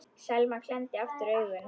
Selma klemmdi aftur augun.